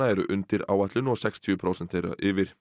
eru undir áætlun og sextíu prósent þeirra yfir